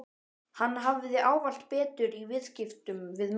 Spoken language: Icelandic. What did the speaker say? Hann hafði ávallt betur í viðskiptum við mig.